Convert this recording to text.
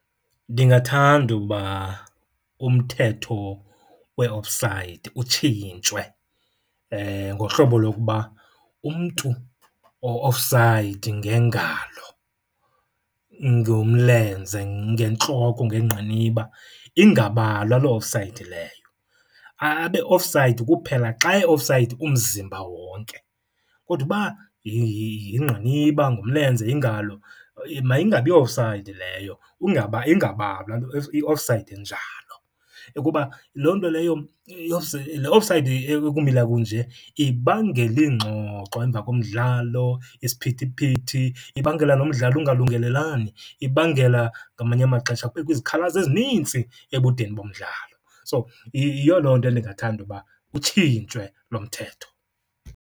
Ndingathanda ukuba umthetho we-offside utshintshwe ngohlobo lokuba umntu o-offside ngengalo, ngomlenze, ngentloko, ngengqiniba, ingabalwa loo offside leyo. Abe offside kuphela xa e-offside umzimba wonke, kodwa uba yingqiniba, ngumlenze, yingalo mayingabiyo-offside leyo, ingabalwa loo i-offside enjalo. Kuba loo nto leyo, le offside ekumila kunje ibangela iingxoxo emva komdlalo, isiphithiphithi, ibangela nomdlalo ungalungelelani, ibangela ngamanye amaxesha kubekho izikhalazo ezinintsi ebudeni bomdlalo. So, yiyo loo nto ndingathanda uba utshintshwe lo mthetho.